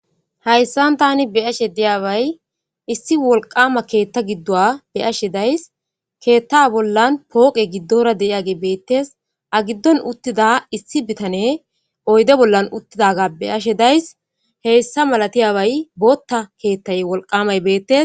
Hayssan tani be'ashe diyabay issi wolqama keetha giduwa be'ashe daysi keetha bollan fooqey gidora de'iyay beetes a gidon uttida issi bitaney oyde bola uttidaga be'ashe daysi hessa malatiyay bootha keethay wolqamay beetes.